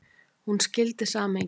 Hún skildi samhengið.